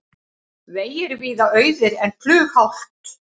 Vegir víða auðir en flughált